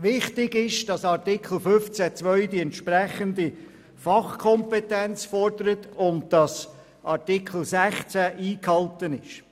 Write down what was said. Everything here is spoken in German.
Wichtig ist, dass Artikel 15 Absatz 2 die entsprechende Fachkompetenz fordert und dass Artikel 16 eingehalten ist.